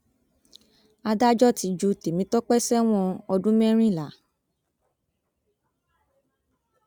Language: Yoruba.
adájọ ti ju tèmitọpẹ sẹwọn ọdún mẹrìnlá